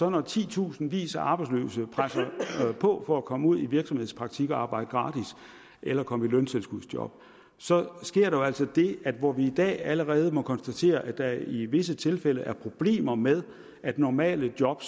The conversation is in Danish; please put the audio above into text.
at når titusindvis af arbejdsløse presser på for at komme ud i virksomhedspraktik og arbejde gratis eller komme i løntilskudsjob så sker der altså det at hvor vi i dag allerede må konstatere at der i visse tilfælde er problemer med at normale job